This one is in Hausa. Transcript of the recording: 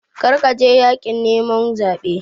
Kar ka je yaƙin neman zaɓen!